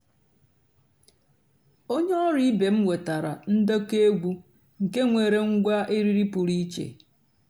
ónyé ọ̀rụ́ ìbé m wètárá ǹdékọ́ ègwú nkè nwèré ǹgwá èrírí pụ́rí ìchè.